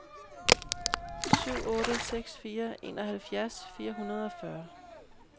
syv otte seks fire enoghalvfjerds fire hundrede og fyrre